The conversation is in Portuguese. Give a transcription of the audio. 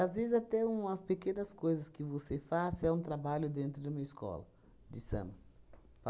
vezes, até umas pequenas coisas que você faça é um trabalho dentro de uma escola de samba.